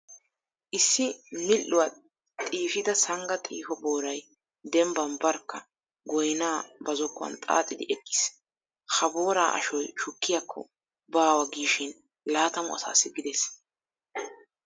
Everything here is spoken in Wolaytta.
Issi midhdhuwa xiifida sangga xiiho booray dembban barkka goynaa ba zokkuwan xaaxidi eqqiis. Ha booraa ashoy shukkiyakko baawa giishi laatamu asaassi gidees.